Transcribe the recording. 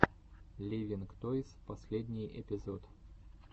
ливинг тойс последний эпизод